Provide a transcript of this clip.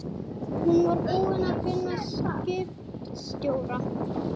Hún var búin að finna skipstjórann.